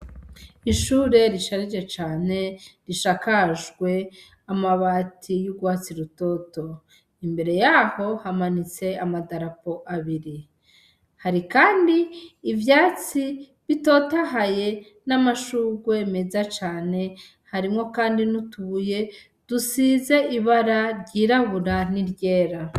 Ishure risharije cane risakajwe amabati yurwatsi rutoto imbere yaho hamanitse amadarapo abiri hari kandi ivyatsi bitotahaye n'amashurwe meza cane harimwo kandi nutudubuye disize ibara ryirabura niryera.